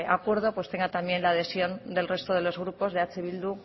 acuerdo tenga también la adhesión del resto de los grupos de eh bildu